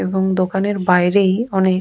এবং দোকানের বাইরেই অনেক --